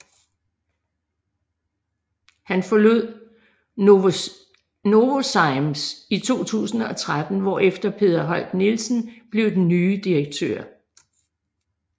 Han forlod Novozymes i 2013 hvorefter Peder Holk Nielsen blev den nye direktør